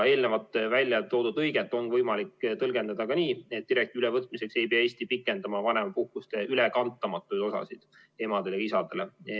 Eelnevalt välja toodud lõiget on võimalik tõlgendada ka nii, et direktiivi ülevõtmiseks ei pea Eesti pikendama vanemapuhkuste ülekantamatuid osasid emadele või isadele.